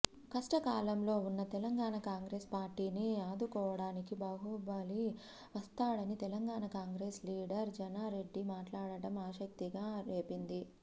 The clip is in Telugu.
కష్టకాలంలో ఉన్న తెలంగాణ కాంగ్రెస్ పార్టీని ఆదుకోవడానికి బాహుబలి వస్తాడని తెలంగాణ కాంగ్రెస్ లీడర్ జానారెడ్డి మాట్లాడటం ఆసక్తిగా రేపింది